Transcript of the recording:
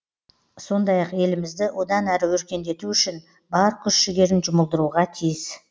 сондай ақ елімізді одан әрі өркендету үшін бар күш жігерін жұмылдыруға тиіс